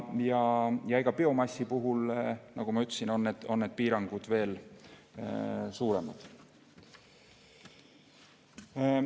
Ja biomassi puhul, nagu ma ütlesin, on need piirangud veel suuremad.